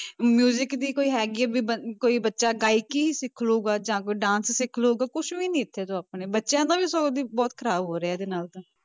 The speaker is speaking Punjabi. Music ਦੀ ਕੋਈ ਹੈਗੀ ਹੈ ਵੀ ਬ~ ਕੋਈ ਬੱਚਾ ਗਾਇਕੀ ਸਿੱਖ ਲਊਗਾ, ਜਾਂ ਕੋਈ dance ਸਿੱਖ ਲਊਗਾ, ਕੁਛ ਵੀ ਨੀ ਇੱਥੇ ਤਾਂ ਆਪਣੇ ਬੱਚਿਆਂ ਨੂੰ ਸਗੋਂ ਦੀ ਬਹੁਤ ਖ਼ਰਾਬ ਹੋ ਰਿਹਾ ਇਹਦੇ ਨਾਲ ਤਾਂ।